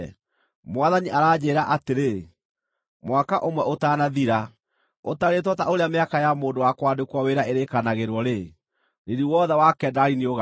Mwathani aranjĩĩra atĩrĩ: “Mwaka ũmwe ũtanathira, ũtarĩtwo ta ũrĩa mĩaka ya mũndũ wa kwandĩkwo wĩra ĩrĩkanagĩrwo-rĩ, riiri wothe wa Kedari nĩũgaathira.